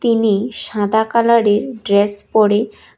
ইনি সাদা কালারের ড্রেস পড়ে--